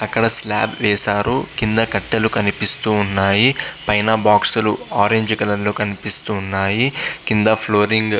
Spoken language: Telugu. అక్కడ స్లాబ్ వేశారు. కింద కట్టలు కనిపిస్తూ ఉన్నాయి. పైన బాక్సు లు ఆరెంజ్ కలర్లో కనిపిస్తున్నాయి. కింద ఫ్లోరింగ్ --